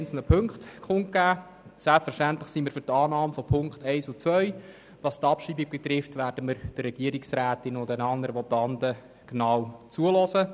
Selbstverständlich sind wir für die Annahme der Punkte 1 und 2. Bezüglich der Abschreibung werden wir der Regierungsrätin und den anderen Votanten genau zuhören.